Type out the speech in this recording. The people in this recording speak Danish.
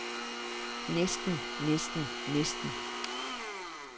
næsten næsten næsten